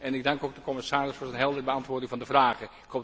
En ik dank ook de commissaris voor zijn heldere beantwoording van de vragen.